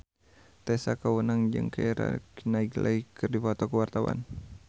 Tessa Kaunang jeung Keira Knightley keur dipoto ku wartawan